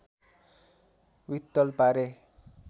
वित्तल पारे